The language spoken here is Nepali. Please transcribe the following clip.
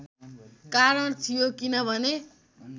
कारण थियो किनभने